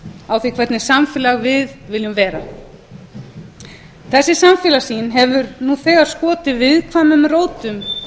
á því hvernig samfélag við viljum vera þessi samfélagssýn hefur nú þegar skotið viðkvæmum rótum